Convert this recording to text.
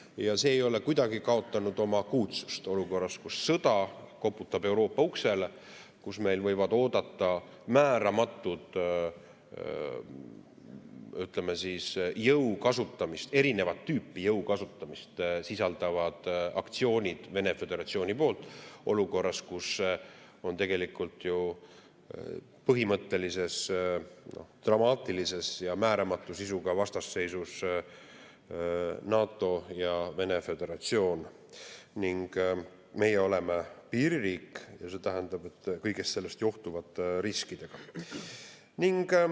Ja see ei ole kuidagi kaotanud oma akuutsust olukorras, kus sõda koputab Euroopa uksele, kus meid võivad oodata, ütleme siis, erinevat tüüpi jõu kasutamist sisaldavad aktsioonid Vene Föderatsiooni poolt olukorras, kus valitseb tegelikult ju põhimõtteline dramaatiline ja määramatu sisuga vastasseis NATO ja Vene Föderatsiooni vahel ning meie oleme piiririik kõigest sellest johtuvate riskidega.